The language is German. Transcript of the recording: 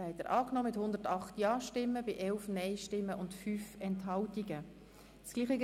Sie haben den Artikel 54 Absatz 1 mit 108 Ja- zu 11 Nein-Stimmen und 5 Enthaltungen angenommen.